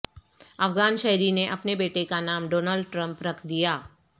افغان شہری نے اپنے بیٹے کا نام ڈونلڈ ٹرمپ رکھ دیا